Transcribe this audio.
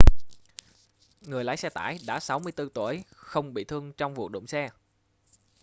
người lái xe tải đã 64 tuổi không bị thương trong vụ đụng xe